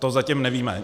To zatím nevíme.